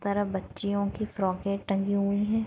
उस तरफ बच्चियो की फ्रॉके टंगी हुई है।